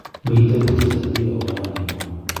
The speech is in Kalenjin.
Mito piik che sase piik akoba ranginwaiy